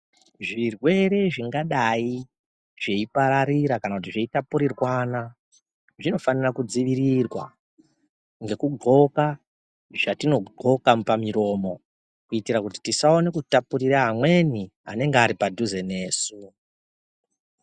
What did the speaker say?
Zvirwere zvingadai zveipararira kana kuti zveitapurirwana zvinofana kudzivirirwa, ngekudxoka zvatinodxoka pamiromo, kuite kuti tisaone kutapurira amweni anenga ari padhuze nesu.